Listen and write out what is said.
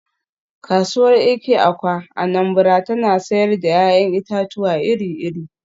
“Kasuwar Eke-Awka (Anambra) tana sayar da ‘ya’yan itatuwa iri-iri.